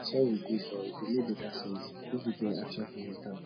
sori gud but e go mek beta sense if e get action film wit am